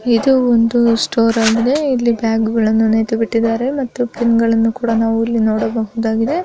ಇದು ಒಂದು ಸ್ಟೋರಾಗಿದೆ ಇಲ್ಲಿ ಬ್ಯಾಗುಗಳನ್ನು ನಿಯತುಬಿಟ್ಟಿದ್ದಾರೆ. ಮತ್ತು ಪಿನ್ನುಗಳನ್ನು ನಾವು ಸಹ ಇಲ್ಲಿ ನೋಡಬಹುದಾಗಿದೆ.